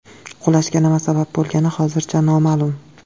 Qulashga nima sabab bo‘lgani hozircha noma’lum.